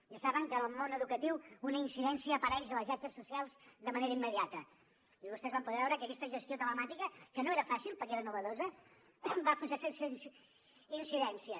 ja saben que el món educatiu una incidència apareix a les xarxes socials de manera immediata i vostès van poder veure que aquesta gestió telemàtica que no era fàcil perquè era novedosa va funcionar sense incidències